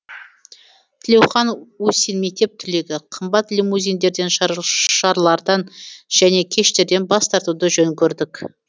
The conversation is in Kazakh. тлеухан усин мектеп түлегі қымбат лимузиндерден шарлардан және кештерден бас тартуды жөн көрдік